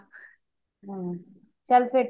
)